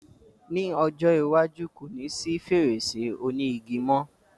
Ní ọjọ́ iwájú, ko ní sí fèrèsé òní igi mo